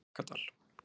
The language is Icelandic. Helgadal